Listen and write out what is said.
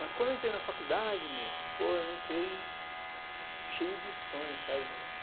Mas quando eu entrei na faculdade, meu, pô, eu entrei cheio de sonhos, sabe, meu?